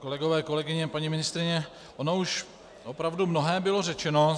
Kolegové, kolegyně, paní ministryně, ono už opravdu mnohé bylo řečeno.